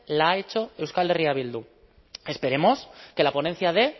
la ha hecho euskal herria bildu esperemos que la ponencia dé